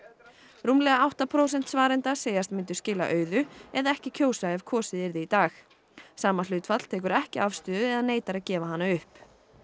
rúmlega átta prósent svarenda segjast myndu skila auðu eða ekki kjósa ef kosið yrði í dag sama hlutfall tekur ekki afstöðu eða neitar að gefa hana upp